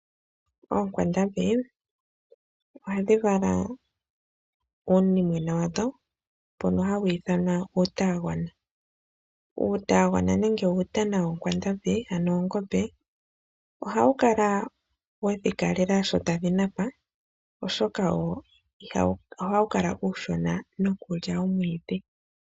Oonkwandambi oha dhi vala uunimwena wadho mbono hawu iithanwa uutanagona. Uutanagona nenge uutana woonkwandambi hano oongombe , ohawu kala wedhi kalela sho tadhi napa, oshoka oha wu kala uushona nokulya omwiidhi.